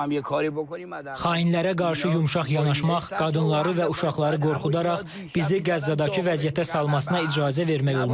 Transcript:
Xainlərə qarşı yumşaq yanaşmaq, qadınları və uşaqları qorxudaraq bizi Qəzzadakı vəziyyətə salmasına icazə vermək olmaz.